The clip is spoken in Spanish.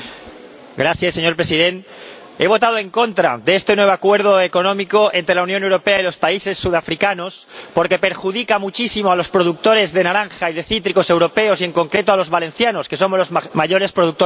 Señor Presidente, he votado en contra de este nuevo acuerdo económico entre la Unión Europea y los países sudafricanos porque perjudica muchísimo a los productores de naranja y de cítricos europeos y, en concreto, a los valencianos, que somos los mayores productores de Europa.